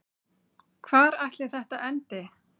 Hvar ætli þetta endi?